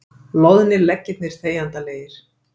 Loðnir leggirnir þegjandalegir.